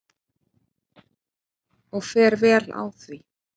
Og fer vel á því.